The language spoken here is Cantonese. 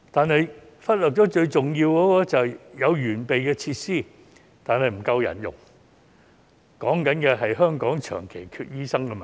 不過，政府忽略了最重要的問題，就是有完備的設施，但沒有足夠人手，即香港長期缺乏醫生的問題。